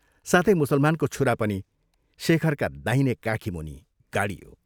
साथै मुसलमानको छुरा पनि शेखरका दाहिने काखीमुनि गाडियो।